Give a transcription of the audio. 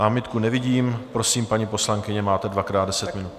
Námitku nevidím, prosím, paní poslankyně, máte dvakrát deset minut.